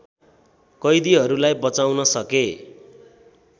कैदीहरूलाई बचाउन सके